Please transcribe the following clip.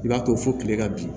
I b'a to fo kile ka bi